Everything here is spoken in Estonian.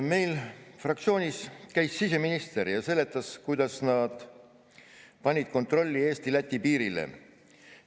Meil fraktsioonis käis siseminister ja seletas, kuidas nad panid kontrolli Eesti-Läti piirile.